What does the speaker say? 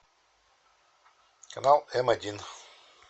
канал м один